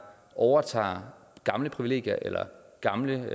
overtager gamle privilegier eller gamle